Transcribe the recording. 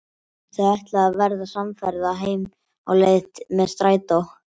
Þau ætla að verða samferða heim á leið með strætó.